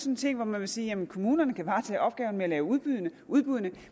en ting hvor man vil sige at kommunerne kan varetage opgaven med at lave udbuddene udbuddene